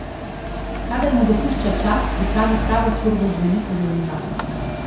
Kadar mu dopušča čas, pripravi pravo čorbo z veliko zelenjave.